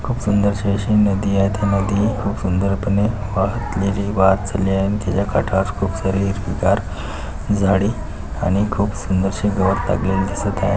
खूप सुंदरशी अशी नदी आहे त्या मध्ये खूप सुंदर नदीच्या काठावर खूप सारे हिरवी गार झाडे आणि खूप सुंदरसे गवत आपल्याला दिसत आहे.